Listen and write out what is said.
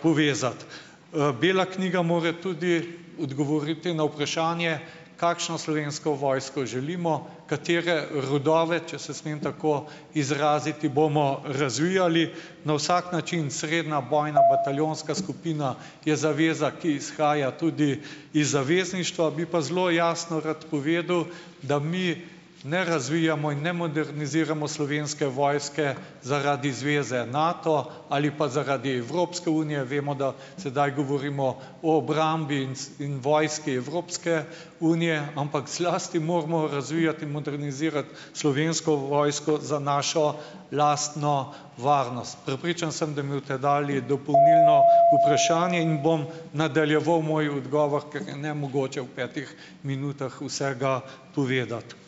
povezati. Bela knjiga mora tudi odgovoriti na vprašanje, kakšno Slovensko vojsko želimo, katere rodove, če se smem tako izraziti, bomo razvijali. Na vsak način srednja bojna bataljonska skupina je zaveza, ki izhaja tudi iz zavezništva. Bi pa zelo jasno rad povedal, da mi ne razvijamo in ne moderniziramo Slovenske vojske zaradi zveze Nato ali pa zaradi Evropske unije. Vemo, da sedaj govorimo o obrambi in, vojski Evropske unije. Ampak zlasti moramo razvijati in modernizirati Slovensko vojsko za našo lastno varnost. Prepričan sem, da mi boste dali dopolnilno vprašanje, in bom nadaljeval moj odgovor, ker je nemogoče v petih minutah vsega povedati.